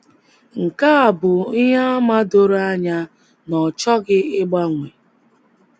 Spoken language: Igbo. Nke a bụ ihe àmà doro anya na ọ chọghị ịgbanwe.